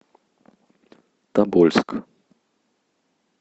тобольск